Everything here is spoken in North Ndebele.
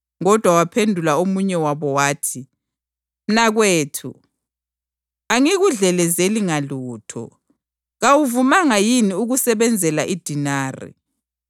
Kodwa waphendula omunye wabo wathi, ‘Mnakwethu, angikudlelezeli ngalutho. Kawuvumanga yini ukusebenzela idenari?